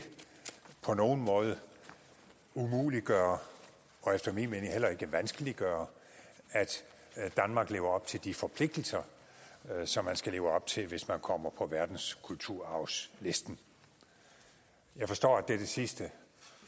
på nogen måde umuliggøre og efter min mening heller ikke vanskeliggøre at danmark lever op til de forpligtelser som man skal leve op til hvis man kommer på verdenskulturarvslisten jeg forstår at det sidste